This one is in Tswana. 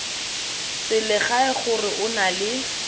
selegae gore o na le